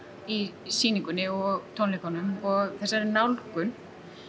í sýningunni og tónleikunum og þessari nálgun